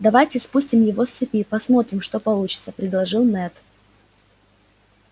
давайте спустим его с цепи посмотрим что получится предложил мэтт